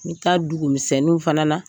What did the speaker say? N mi taa dugumisɛnnu fana na.